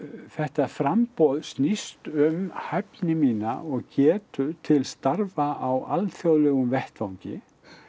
þetta framboð snýst um hæfni mína og getu til starfa á alþjóðlegum vettvangi